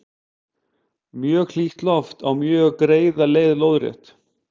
mjög hlýtt loft á mjög greiða leið lóðrétt